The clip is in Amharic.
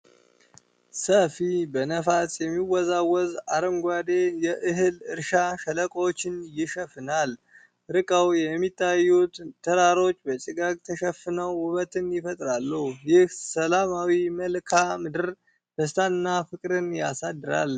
ሰፊ፣ በነፋስ የሚወዛወዝ አረንጓዴ የእህል እርሻ ሸለቆዎችን ይሸፍናል። ርቀው የሚታዩት ተራሮች በጭጋግ ተሸፍነው ውበትን ይፈጥራሉ። ይህ ሰላማዊ መልክዓ ምድር ደስታንና ፍቅርን ያሳድራል።